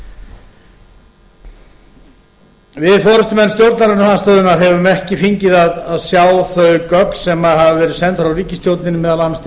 þjóðinni við forustumenn stjórnarandstöðunnar höfum ekki fengið að sjá þau gögn sem hafa verið send frá ríkisstjórninni meðal annars til